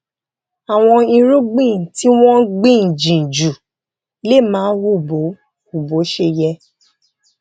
àwọn irúgbìn tí wón gbìn jìn jù lè má hù bó hù bó ṣe yẹ